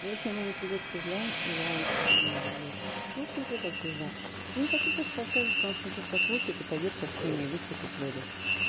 если ему не придёт пизда я очень сильно удивлюсь ну в смысле как пизда тебе не хочу просто рассказывать потому что он сейчас послушает и пойдёт по схеме и выхватит бд